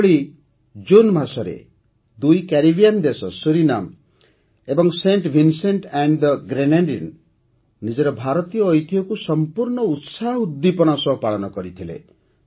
ସେହିଭଳି ଜୁନ୍ ମାସରେ ଦୁଇ କ୍ୟାରେବିୟାନ୍ ଦେଶ ସୁରିନାମ ଓ Saint Vincent and the Grenadines ନିଜର ଭାରତୀୟ ଐତିହ୍ୟକୁ ସମ୍ପୂର୍ଣ୍ଣ ଉତ୍ସାହ ଉଦ୍ଦୀପନା ସହ ପାଳନ କରିଥିଲେ